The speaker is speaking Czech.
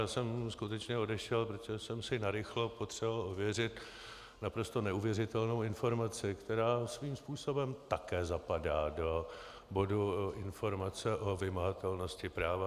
Já jsem skutečně odešel, protože jsem si narychlo potřeboval ověřit naprosto neuvěřitelnou informaci, která svým způsobem také zapadá do bodu informace o vymahatelnosti práva.